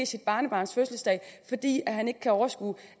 sit barnebarns fødselsdag fordi han ikke kan overskue